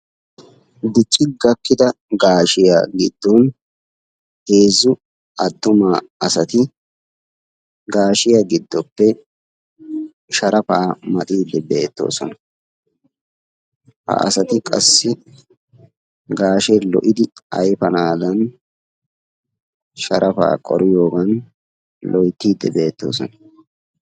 dicDicci gakkida gaashshiyaa giddon heezzu attuma asati gaashshiyaa giddoppe sharafa maaxide beettoosona; ha asati qassi gaashshe lo"idi ayfanadan sharafaa qoriyoogan loyttide beettoosona.